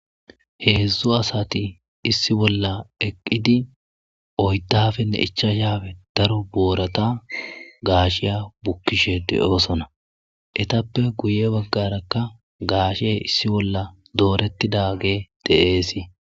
heedzdzu asati issi bolla eqqidi oydafenne ichashaape daro boorata gaashiya bukkishe de'oosona etappe guye baggarakka gaashe issi bolla doorettidage de'ees